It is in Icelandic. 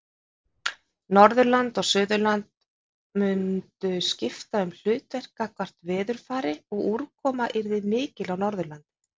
Norðurland og Suðurland mundu skipta um hlutverk gagnvart veðurfari og úrkoma yrði mikil á Norðurlandi.